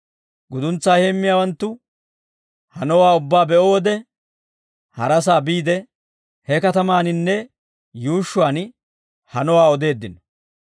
Guduntsaa heemmiyaawanttu hanowaa ubbaa be'o wode harasaa biide, he katamaaninne yuushshuwaan hanowaa odeeddino.